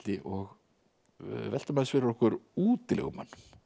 og veltum aðeins fyrir okkur útilegumönnum